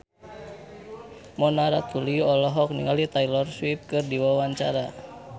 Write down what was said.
Mona Ratuliu olohok ningali Taylor Swift keur diwawancara